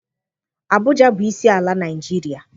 Abụja bụ isi ala Naịjiria.